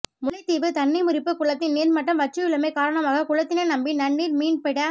முல்லைத்தீவு தண்ணிமுறிப்பு குளத்தின் நீர்மட்டம் வற்றியுள்ளமை காரணமாக குளத்தினை நம்பி நன்நீர் மீன்பிட